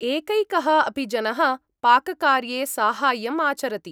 एकैकः अपि जनः पाककार्ये साहाय्यम् आचरति।